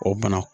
O bana